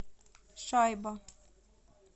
шайба